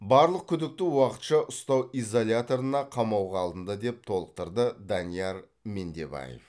барлық күдікті уақытша ұстау изоляторына қамауға алынды деп толықтырды данияр мендебаев